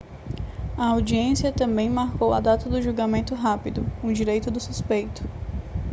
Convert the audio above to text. a audiência também marcou a data do julgamento rápido um direito do suspeito